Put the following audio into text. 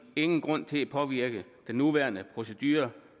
ingen grund til at påvirke den nuværende procedure